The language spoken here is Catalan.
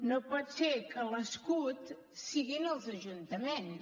no pot ser que l’escut siguin els ajuntaments